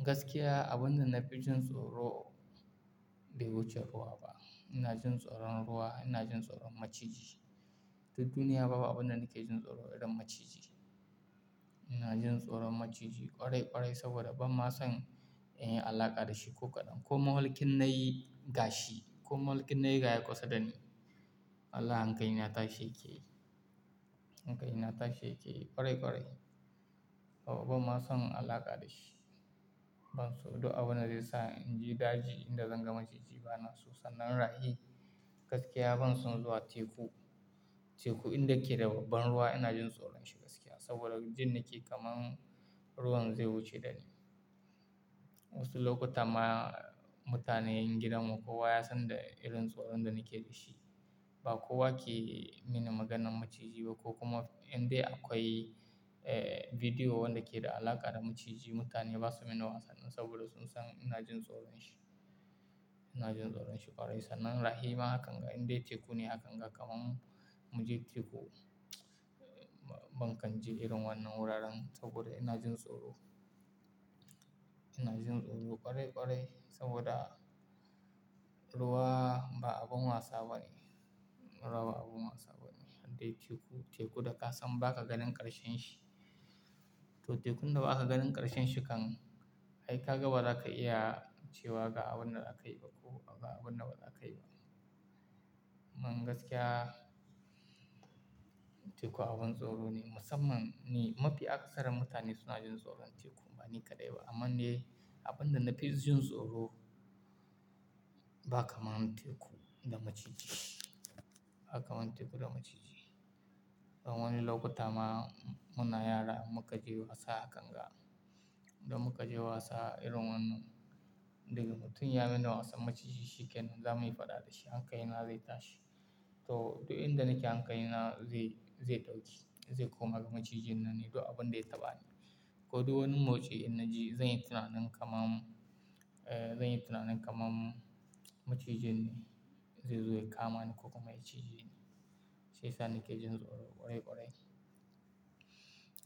Gaskiya abun da na fi jin tsoro bai wuce ruwa ba. Ina jin tsoron ruwa, ina jin tsoron maciji. Duniya babu abin da nake jin tsoro irin maciji. Ina jin tsoron maciji ƙwarai ƙwarai saboda ban ma san in yi alaƙa da shi ko kaɗan. Ko mafalki in na yi gashi, ko mafalki in na yi ga ya kusa da ni, Wallahi hankali na tashi yake yi. Hankali na tashi yake ƙwarai ƙwarai. Saboda ban ma son alaƙa da shi. Ban so duk abubda zai sa in je daji idan zan gan maciji bana so. Sannan rahi. Gaskiya ban son zuwa teku. Teku inda ke da babban ruwa ina jin tsoron shi gaskiya. Saboda jin nake kamar ruwan zai wuce da ni. Wasu lokuta ma mutanen gidanmu kowa ya san da irin tsoron da nake da shi. Ba kowa ke mini maganan maciji ba ko kuma in dai akwai, eh, bidiyo wanda ke da alaƙa da maciji mutane ba su min wasa nan saboda sun san ina jin tsoron shi. Ina jin tsoron shi ƙwarai. Sannan rahi ma hakan ga in dai teku ne hakan ga kamar mu je teku, ban kan je irin wannan wuraren saboda ina jin tsoro. Ina jin tsoro ƙwarai ƙwarai saboda ruwa ba abun wasa bane. Ruwa ba abun wasa bane. Idan dai teku, teku da ka san baka ganin ƙarshen shi to tekun da baka ganin ƙarshen shi kam ai ka gan ba za ka iya cewa ga abun da aka yi ba ko ga abun da ba za a yi ba. Man gaskiya teku abin tsoro ne. Musamman ni, mafi akasarin mutane suna jin tsoron teku bani kaɗai ba. Amman dai abin da na fi jin tsoro ba kamar teku da maciji. Ba kamar teku da maciji. Wani lokuta ma muna yara muka je wasa hakan ga, da muka je wasa irin wannan. Daga mutum ya min wasan maciji shi kenan zamuyi faɗa da shi, hankali na zai tashi. To, duk inda nake hankali na zai, zai ɗauke, zai koma ga macijin nan ne duk abun da ya taɓa ni. Ko duk wani motsi in na ji zan yi tunanin kamar, eh, zan yi tunanin kamar macijin ne zai zo ya kama ni ko kuma ya cije ni shi yasa ni ke jin tsoro ƙwarai ƙwarai.